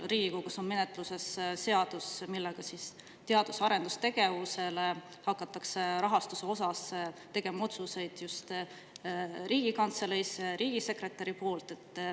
Riigikogus on menetluses seadus, mille alusel hakatakse teadus‑ ja arendustegevuse rahastuse otsuseid tegema just Riigikantseleis riigisekretäri poolt.